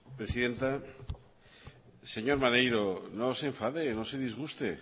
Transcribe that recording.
presidenta señor maneiro no se enfade no se disguste